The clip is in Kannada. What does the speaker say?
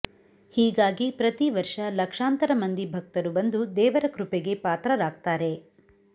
ಹೀಗಾಗಿ ಪ್ರತೀವರ್ಷ ಲಕ್ಷಾಂತರ ಮಂದಿ ಭಕ್ತರು ಬಂದು ದೇವರ ಕೃಪೆಗೆ ಪಾತ್ರರಾಗ್ತಾರೆ